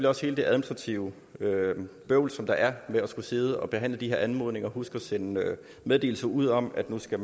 også hele det administrative bøvl som der er ved at skulle sidde og behandle de her anmodninger og huske at sende meddelelse ud om at nu skal